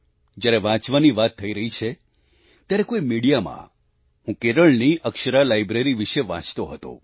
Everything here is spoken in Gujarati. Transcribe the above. જ્યારે વાંચવાની વાત થઈ રહી છે ત્યારે કોઈ મીડિયામાં હું કેરળની અક્ષરા લાઈબ્રેરી વિશે વાંચતો હતો